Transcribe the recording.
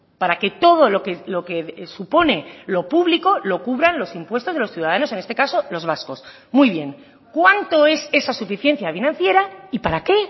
para que todo lo que supone lo público lo cubran los impuestos de los ciudadanos en este caso los vascos muy bien cuánto es esa suficiencia financiera y para qué